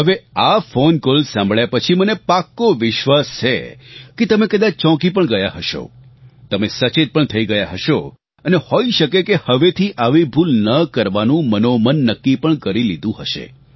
હવે આ phone call સાભળ્યાં પછી મને પાક્કો વિશ્વાસ છે કે તમે કદાચ ચોંકી પણ ગયા હશો તમે સચેત પણ થઇ ગયા હશો અને હોઇ શકે કે હવેથી આવી ભૂલ ન કરવાનું મનોમન નક્કી પણ કરી લીધું હશે